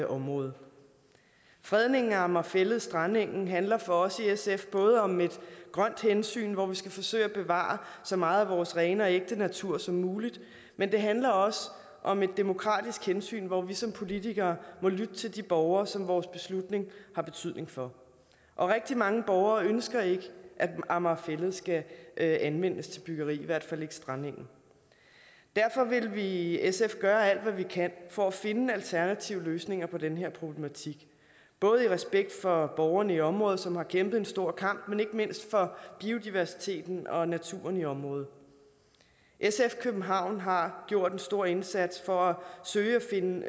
området fredningen af amager fælled strandengen handler for os i sf både om et grønt hensyn hvor vi skal forsøge at bevare så meget af vores rene og ægte natur som muligt men det handler også om et demokratisk hensyn hvor vi som politikere må lytte til de borgere som vores beslutning har betydning for og rigtig mange borgere ønsker ikke at amager fælled skal anvendes til byggeri i hvert fald ikke strandengen derfor vil vi i sf gøre alt hvad vi kan for at finde alternative løsninger på den her problematik både i respekt for borgerne i området som har kæmpet en stor kamp men ikke mindst for biodiversiteten og naturen i området sf københavn har gjort en stor indsats for at søge at finde